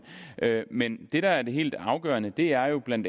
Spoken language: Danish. men det der er det helt afgørende er jo bla